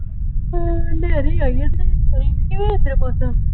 ਹਾਂ ਹਨੇਰੀ ਆ ਕੀਤੇ ਕਿਵੇ ਦਾ ਏਦਰ ਮੌਸਮ